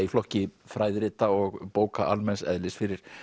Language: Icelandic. í flokki fræðirita og bóka almenns eðlis fyrir